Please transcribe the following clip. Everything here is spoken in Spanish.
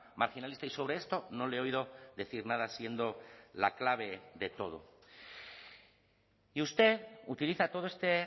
marginalista y sobre esto no le he oído decir nada siendo la clave de todo y usted utiliza todo este